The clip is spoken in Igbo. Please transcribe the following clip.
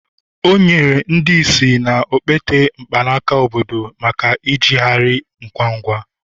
o nyere ndị ìsì na okpete mkpanaka obodo maka ijegharị ngwa ngwa